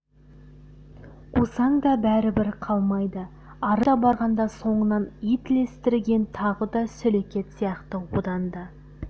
қусаң да бәрібір қалмайды арыз айта барғанда соңынан ит ілестірген тағы да сөлекет сияқты одан да